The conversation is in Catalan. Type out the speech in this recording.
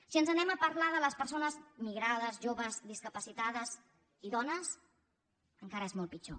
si anem a parlar de les persones migrades joves discapacitades i dones encara és molt pitjor